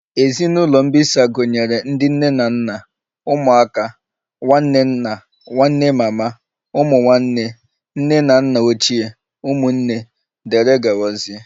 Ezinụlọ mbisa gụnyere ndị nne na nna, ụmụaka, nwanne nna, nwanne mama, ụmụ nwanne, nne na nna ochie, ụmụnne nna wdg